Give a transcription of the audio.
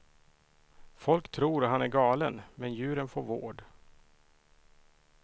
Folk tror han är galen, men djuren får vård.